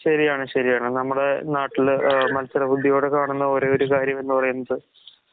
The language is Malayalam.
ശരിയാണ് ശരിയാണ്. നമ്മുടേ നാട്ടില് ഏഹ് മത്സരബുദ്ധിയോടെ കാണുന്ന ഒരേഒരു കാര്യം എന്ന്പറയുന്നത്